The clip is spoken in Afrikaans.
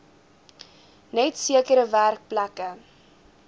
net sekere werkplekke